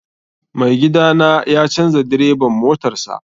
Mai gida na ya canza direban motarsa.